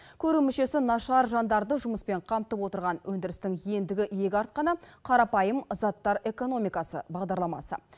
көру мүшесі нашар жандарды жұмыспен қамтып отырған өндірістің ендігі иек артқаны қарапайым заттар экономикасы бағдарламасы